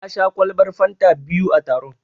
Na sha ƙwalban fanta biyu a taron.